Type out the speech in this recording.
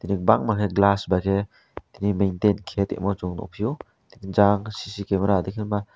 bakmai ke glass bai ke tini maintaine kaima Yung nugfio jang cc camera am tui ke ma.